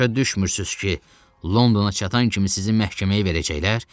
Başa düşmürsüz ki, Londona çatan kimi sizi məhkəməyə verəcəklər?